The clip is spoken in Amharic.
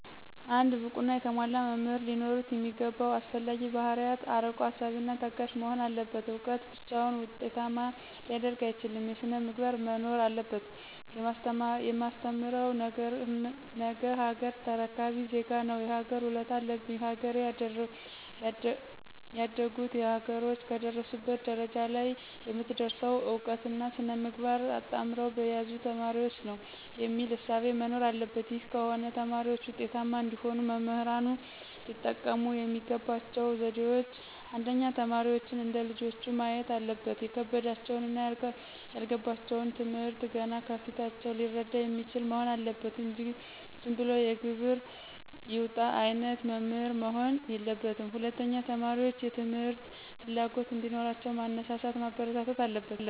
አንድ ብቁና የተሟላ መምህር ሊኖሩት የሚገባው አስፈላጊ ባህርያት አርቆ አሳቢና ታጋሽ መሆን አለበት እውቀት ብቻውን ዉጤታማ ሊያደርግ አይችልም ሥነ-ምግባርም መኖር አለበት። የማስተምረው ነገሀገር ተረካቢ ዜጋ ነው የሀገር ውለታ አለብኝ ሀገሬ ያደጉት ሀገሮች ከደረሱበት ደረጃ ለይ የምትደርሰው እውቀትና ሥነ-ምግባር አጣምረው በያዙ ተማሪዎች ነው። የሚል እሳቤ መኖር አለበት ይህ ከሆነ ተማሪዎች ውጤታማ እንዲሆኑ መምህራን ሊጠቀሙ የሚገባቸው ዘዴዎች :1. ተማሪዎችን እንደ ልጆቹ ማየት አለበት የከበዳቸውንና ያልገባቸውን ትምህርት ገና ከፊታቸው ሊረዳ የሚችል መሆን አለበት እንጂ ዝንብሎ የግብር ይውጣ አይነት መምህር መሆን የለበትም። 2. ተማሪዎችን የትምህርት ፍላጎት እዲኖራቸው ማነሳሳት ማበረታታት አለበት።